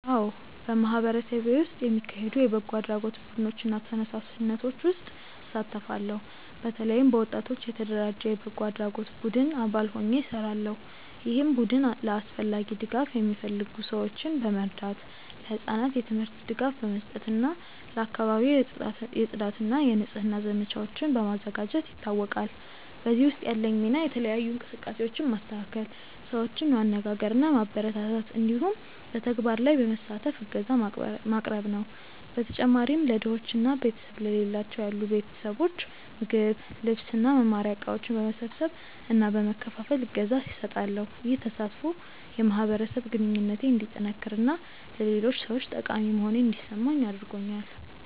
አዎ፣ በማህበረሰቤ ውስጥ የሚካሄዱ የበጎ አድራጎት ቡድኖች እና ተነሳሽነቶች ውስጥ እሳተፋለሁ። በተለይም በወጣቶች የተደራጀ የበጎ አድራጎት ቡድን አባል ሆኜ እሰራለሁ፣ ይህም ቡድን ለአስፈላጊ ድጋፍ የሚፈልጉ ሰዎችን በመርዳት፣ ለህጻናት የትምህርት ድጋፍ በመስጠት እና ለአካባቢው የጽዳት እና የንጽህና ዘመቻዎችን በማዘጋጀት ይታወቃል። በዚህ ውስጥ ያለኝ ሚና የተለያዩ እንቅስቃሴዎችን ማስተካከል፣ ሰዎችን ማነጋገር እና ማበረታታት እንዲሁም በተግባር ላይ በመሳተፍ እገዛ ማቅረብ ነው። በተጨማሪም ለድሆች እና ቤተሰብ ለሌላቸው ያሉ ቤተሰቦች ምግብ፣ ልብስ እና መማሪያ እቃዎች በመሰብሰብ እና በመከፋፈል እገዛ እሰጣለሁ። ይህ ተሳትፎ የማህበረሰብ ግንኙነቴን እንዲጠነክር እና ለሌሎች ሰዎች ጠቃሚ መሆኔን እንዲሰማኝ አድርጎኛል።